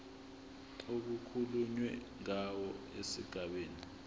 okukhulunywe ngawo esigabeni